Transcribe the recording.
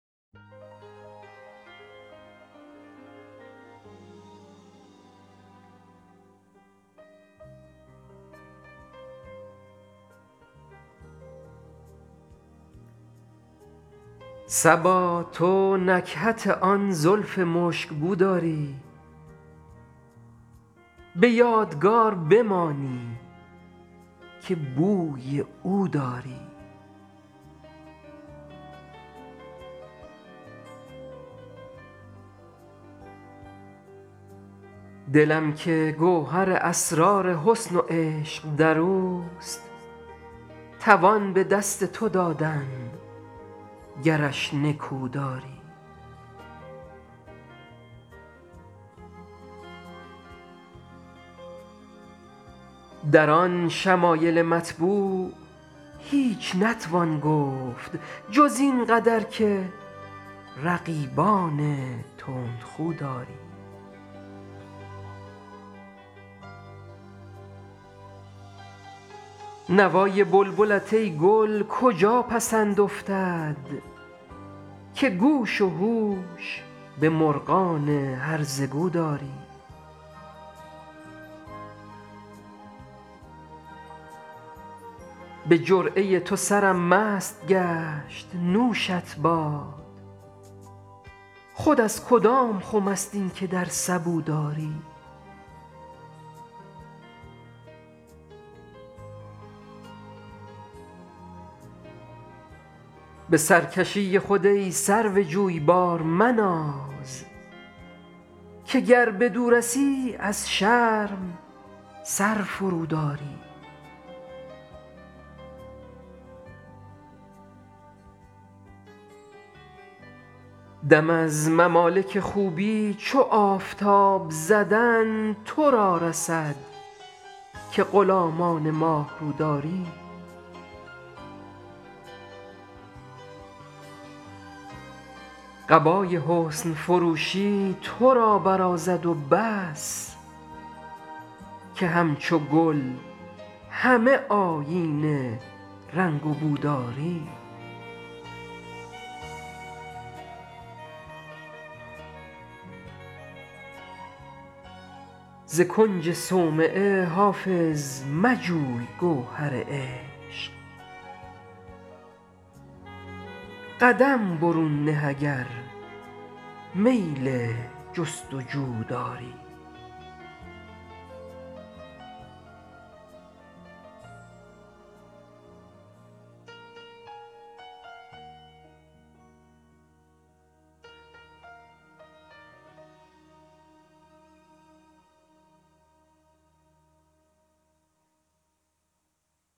صبا تو نکهت آن زلف مشک بو داری به یادگار بمانی که بوی او داری دلم که گوهر اسرار حسن و عشق در اوست توان به دست تو دادن گرش نکو داری در آن شمایل مطبوع هیچ نتوان گفت جز این قدر که رقیبان تندخو داری نوای بلبلت ای گل کجا پسند افتد که گوش و هوش به مرغان هرزه گو داری به جرعه تو سرم مست گشت نوشت باد خود از کدام خم است این که در سبو داری به سرکشی خود ای سرو جویبار مناز که گر بدو رسی از شرم سر فروداری دم از ممالک خوبی چو آفتاب زدن تو را رسد که غلامان ماه رو داری قبای حسن فروشی تو را برازد و بس که همچو گل همه آیین رنگ و بو داری ز کنج صومعه حافظ مجوی گوهر عشق قدم برون نه اگر میل جست و جو داری